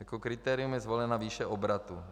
Jako kritérium je zvolena výše obratu.